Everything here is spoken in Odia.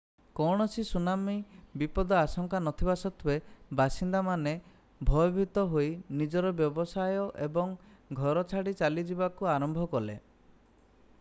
କୌଣସି ସୁନାମି ବିପଦ ଆଶଙ୍କା ନଥିବା ସତ୍ଵେ ବାସିନ୍ଦାମାନେ ଭୟଭୀତ ହୋଇ ନିଜ ବ୍ୟବସାୟ ଏବଂ ଘର ଛାଡି ଚାଲିଯିବାକୁ ଆରମ୍ଭ କଲେ